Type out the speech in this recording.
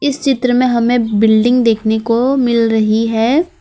इस चित्र में हमें बिल्डिंग देखने को मिल रही है।